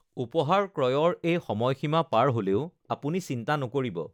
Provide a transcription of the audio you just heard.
উপহাৰ ক্ৰয়ৰ এই সময়সীমা পাৰ হ'লেও আপুনি চিন্তা নকৰিব৷